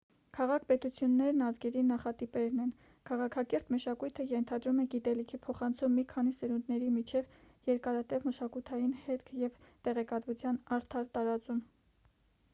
քաղաք-պետություններն ազգերի նախատիպերն են քաղաքակիրթ մշակույթը ենթադրում է գիտելիքի փոխանցում մի քանի սերունդների միջև երկարատև մշակութային հետք և տեղեկատվության արդար տարածում